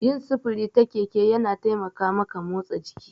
Yin sufuri ta keke yana taimaka maka motsa jiki.